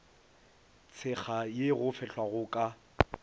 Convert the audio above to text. tshekga ye go fehlwago ka